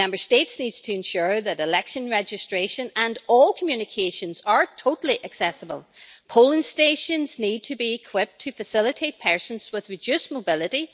Member States need to ensure that election registration and all communications are totally accessible polling stations need to be equipped to facilitate persons with reduced mobility